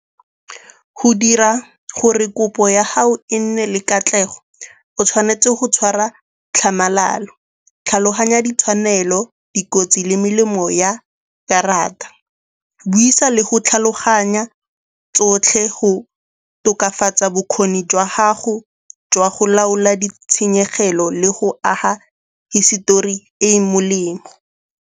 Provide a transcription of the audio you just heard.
Go dira gore kopo ya gago e nne le katlego o tshwanetse go tshwara tlhamalalo, tlhaloganya ditshwanelo, dikotsi le melemo ya karata. Buisa le go tlhaloganya tsotlhe go tokafatsa bokgoni jwa gago jwa go laola ditshenyegelo le go aga hisetori e e molemo.